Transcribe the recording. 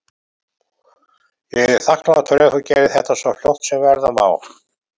Ég yrði þakklátur ef þú gerðir þetta svo fljótt sem verða má.